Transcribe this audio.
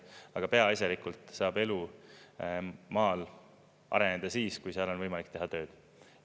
Aga peaasjalikult saab elu maal areneda siis, kui seal on võimalik teha tööd.